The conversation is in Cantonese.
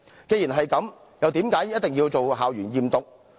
既然如此，為何要進行校園驗毒？